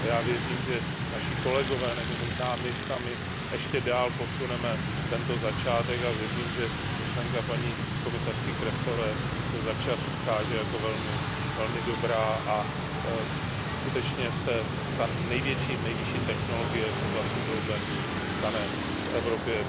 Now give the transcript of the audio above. Já věřím, že naši kolegové nebo možná my sami posuneme ještě dál tento začátek a věřím, že myšlenka paní komisařky Kroesové se za čas ukáže jako velmi dobrá a skutečně se ta nejvyšší technologie v oblasti broadbandu stane v Evropě